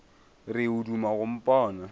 re o duma go mpona